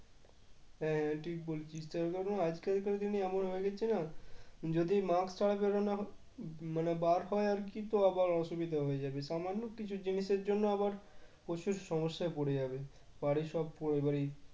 হ্যাঁ ঠিক বলছিস আজকালকার দিনে এমন হয়ে গেছে না যদি mask ছাড়া বেরোনো মানে বার হয় আর কি তো আবার অসুবিধা হয়ে যাবে সামান্য কিছু জিনিসের জন্য আবার প্রচুর সমস্যায় পড়ে যাবে বাড়ির সব পরিবারই